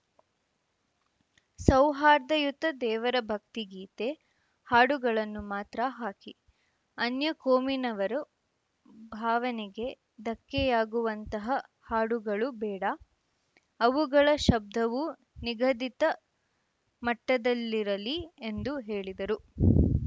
ಸೌಹಾರ್ದಯುತ ದೇವರ ಭಕ್ತಿಗೀತೆ ಹಾಡುಗಳನ್ನು ಮಾತ್ರ ಹಾಕಿ ಅನ್ಯ ಕೋಮಿನವರು ಭಾವನೆಗೆ ಧಕ್ಕೆಯಾಗುವಂತಹ ಹಾಡುಗಳು ಬೇಡ ಅವುಗಳ ಶಬ್ಧವೂ ನಿಗದಿತ ಮಟ್ಟದಲ್ಲಿರಲಿ ಎಂದು ಹೇಳಿದರು